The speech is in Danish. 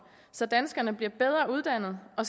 så danskerne bliver bedre uddannede og